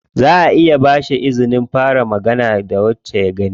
Zaʼa iya ba shi izinin fara magana da wacce ya gani.